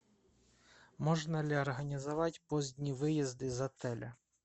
можно ли организовать поздний выезд из отеля